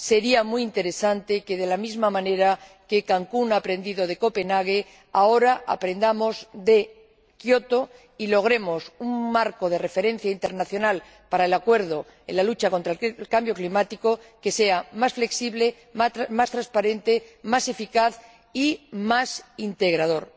Sería muy interesante que, de la misma manera que Cancún ha aprendido de Copenhague, ahora aprendamos de Kioto y logremos un marco de referencia internacional para un acuerdo en la lucha contra el cambio climático que sea más flexible, más transparente, más eficaz y más integrador.